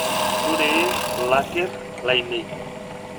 Koree llakir lainei.